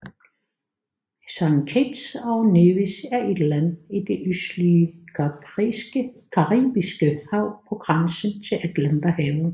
Saint Kitts og Nevis er et land i det østlige Caribiske Hav på grænsen til Atlanterhavet